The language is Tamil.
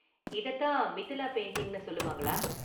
இததான் மிதிலா பெயிண்டிங்னு சொல்லுவாங்களா?